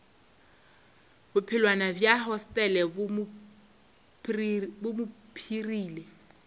bophelwana bja hostele bo mpshirile